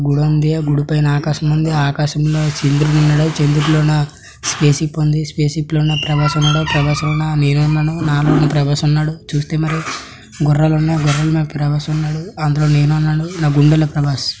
గుడుంది ఆ గుడి పైన ఆకాశం ఉంది ఆకాశంలో చంద్రుడున్నడు చంద్రుడిలోన స్పేస్ షిప్ ఉంది స్పేస్ షిప్ లోన ప్రభాస్ ఉన్నడు ప్రభాస్ లోన నేనున్నాను నాలోనూ ప్రభాస్ ఉన్నడు చూస్తే మరి గుర్రాలున్నయి గుర్రాల్ మీద ప్రభాస్ ఉన్నాడు అందులో నేనున్నాను నా గుండెల్లో ప్రభాస్.